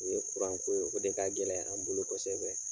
O ye ko ye. O de ka gɛlɛn an bolo kɔsɛbɛ.